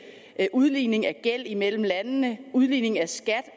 udligning af gæld imellem landene udligning af skat